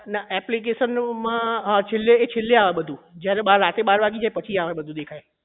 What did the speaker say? ના application નું માં અ છેલ્લે હા છેલ્લે આવે બધું જયારે બાર રાત્રે બાર વાગી જાય પછી દેખાય આ બધું દેખાય